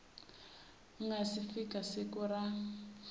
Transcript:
nga si fika siku ra